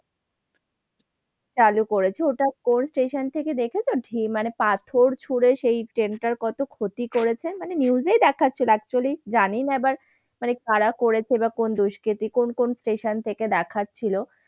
চালু করেছে। ওটা কোন station থেকে দেখেছো? ঢিল মানে পাথর ছুড়ে সেই train টার কত ক্ষতি করছে? মানে news এই দেখাচ্ছিল actually জানি না আবার মানে কারা করেছে বা কোন দুষ্কৃতি, কোন কোন station থেকে দেখাচ্ছিল।